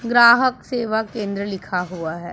ग्राहक सेवा केंद्र लिखा हुआ है।